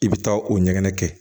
I bɛ taa o ɲɛgɛn kɛ